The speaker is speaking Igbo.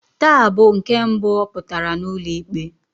Taa bụ nke mbụ ọ pụtara n'ụlọ ikpe.